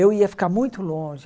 Eu ia ficar muito longe.